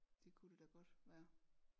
Det kunne det da godt være